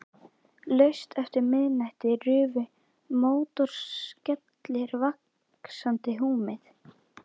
Laust eftir miðnætti rufu mótorskellir vaxandi húmið.